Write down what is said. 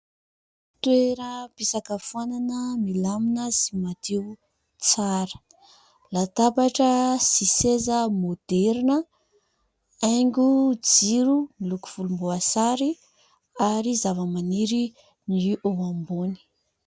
Toeram-pisakafoanana milamina sy madio, tsara. Latabatra sy seza maoderina, haingo jiro miloko volomboasary ary zavamaniry no eo ambony.